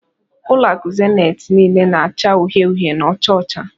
Ulo aku Zenith nile n'acha uhie uhie na ocha ocha